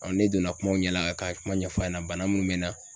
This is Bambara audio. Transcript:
ne donna kumaw ɲɛ la, ka kuma ɲɛfa ɲɛna .Bana mUn bɛ na